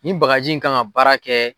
Ni bagaji in k'an ka baara kɛ.